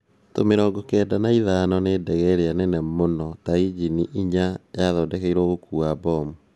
Tu-mirongo kenda na ithano nĩ ndege ĩrĩa nene muno na injini inya yathondekirwe gũkuwa bomu